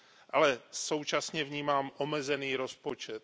Ale současně vnímám omezený rozpočet.